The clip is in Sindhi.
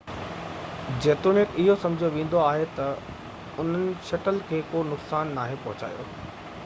جيتوڻيڪ اهو سمجهيو ويندو آهي ته انهن شٽل کي ڪو نقصان ناهي پهچايو